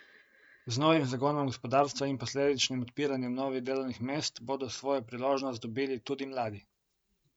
Z novim zagonom gospodarstva in posledičnim odpiranjem novih delovnih mest bodo svojo priložnost dobili tudi mladi.